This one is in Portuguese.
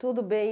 Tudo bem.